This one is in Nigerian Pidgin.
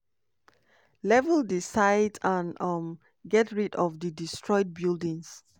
"level di site and um get rid of di destroyed buildings.